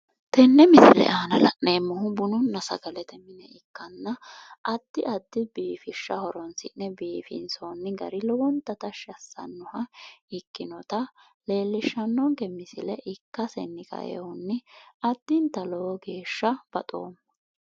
tenne misile aana la'neemmohu bununna sagalete mine ikkanna addi addi biifishsha horonsi'ne biifinsoonni gari lowonta tashshi assannoha ikkinota leellishshanonke misile ikkasini kaeehunni addinta lowo geeshsha baxoomma .